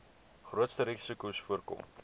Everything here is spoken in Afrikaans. grootste risikos voorkom